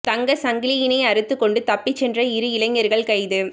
தங்கச் சங்கிலியினை அறுத்துக் கொண்டு தப்பிச் சென்ற இரு இளைஞர்கள் கைது